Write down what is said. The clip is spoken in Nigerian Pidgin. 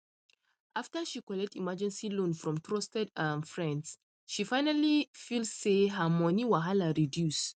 after she collect emergency loan from trusted um friend she finally feel say her money wahala reduce um